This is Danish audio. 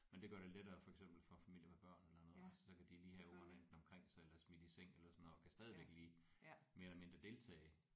Men det gør det lettere for eksempel for familier med børn eller noget altså så kan de lige have ungerne enten omkring sig eller smidt i seng eller sådan noget og kan stadigvæk lige mere eller mindre deltage